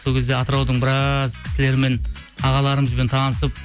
сол кезде атыраудың біраз кісілерімен ағаларымызбен танысып